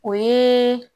O ye